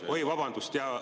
Oi, vabandust!